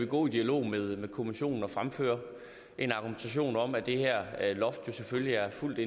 gå i dialog med kommissionen og fremføre en argumentation om at det her loft selvfølgelig er fuldt